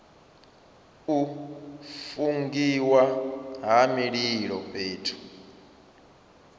u fungiwa ha mililo fhethu